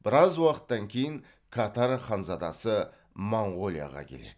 біраз уақыттан кейін катар ханзадасы моңғолияға келеді